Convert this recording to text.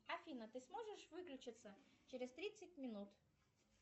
афина ты сможешь выключиться через тридцать минут